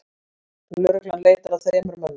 Lögreglan leitar að þremur mönnum